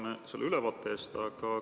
Tänan selle ülevaate eest!